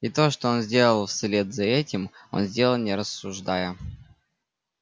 и то что он сделал вслед за этим он сделал не рассуждая